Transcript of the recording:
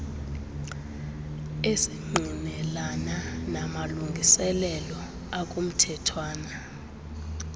esingqinelana namalungiselelo akumthethwana